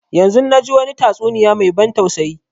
Yanzun na ji wani tastuniya mai ban tausayi